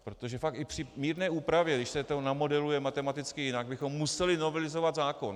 Protože fakt i při mírné úpravě, když se to namodeluje matematicky jinak, bychom museli novelizovat zákon.